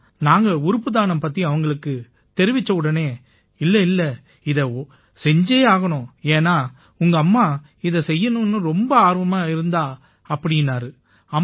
ஆனா நாங்க உறுப்பு தானம் பத்தி அவங்களுக்குத் தெரிவிச்சவுடனே இல்லை இல்லை இதை செஞ்சே ஆகணும் ஏன்னா உங்கம்மா இதைச் செய்யணும்னு ரொம்ப ஆர்வமா இருந்தா அப்படீன்னாரு